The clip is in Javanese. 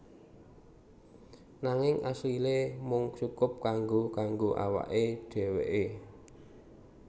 Nanging asile mung cukup kanggo kanggo awake dheweke